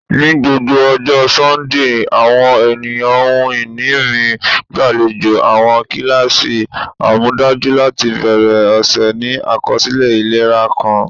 Ni gbogbo ọjọ Sundee, awọn eniyan ohun-ini mi gbalejo awọn kilasi amọdaju lati bẹrẹ ọsẹ ni akọsilẹ ilera kan.